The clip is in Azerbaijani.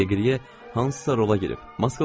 Deqriye hansısa rola girib, maskalanıb.